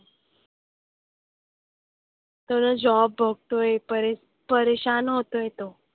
तो ना job बघतोय. परे परेशान होतोय तो.